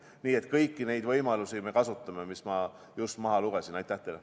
Nii et kõiki neid võimalusi, mis ma just ette lugesin, me kasutame.